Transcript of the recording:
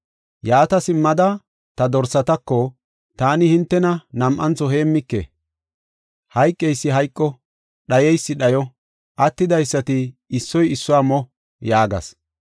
Yaata simmada ta dorsatako, “Taani hintena nam7antho heemmike; hayqeysi hayqo; dhayeysi dhayo; attidaysati issoy issuwa mo” yaagas.